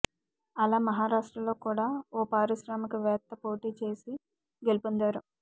అలా మహారాష్ట్రలో కూడా ఓ పారిశ్రామిక వేత్త పోటీ చేసి గెలుపొందారు